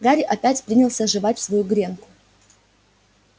гарри опять принялся жевать свою гренку